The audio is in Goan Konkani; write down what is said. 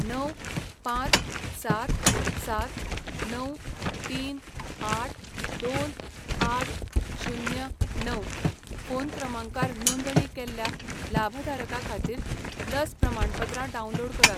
णव, पांच, सात, सात, णव, तीन आठ, दोन, आठ, शुन्य, णव फोन क्रमांकार नोंदणी केल्ल्या लाभधारका खातीर लस प्रमाणपत्रां डावनलोड करात.